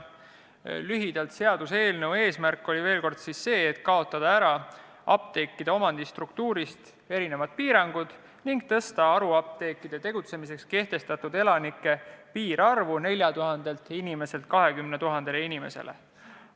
Veel kord lühidalt, seaduseelnõu eesmärk oli kaotada apteekide omandistruktuurist teatavad piirangud ning suurendada haruapteekide tegutsemiseks kehtestatud elanike piirarvu 4000 inimeselt 20 000 inimesele.